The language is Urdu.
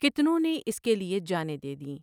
کتنوں نے اس کے لیے جانیں دے دیں ۔